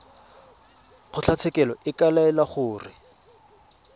kgotlatshekelo e ka laela gore